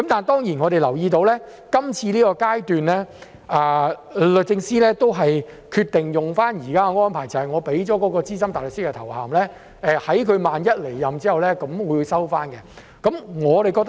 當然，我們留意到在這階段，律政司還是決定採用現時的安排，即資深大律師的頭銜在有關人士離任後便會收回。